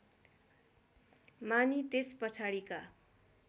मानी त्यस पछाडिका